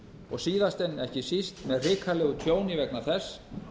og síðast en ekki síst með hrikalegu tjóni vegna þess